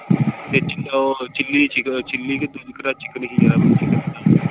ਉਹ chilli ਕਿਹੜਾ chicken ਸੀ .